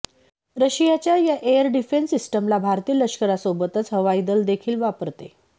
रशियाच्या या air defence सिस्टमला भारतीय लष्करासोबतच हवाई दल देखील वापरते